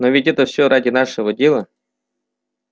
но ведь это всё ради нашего дела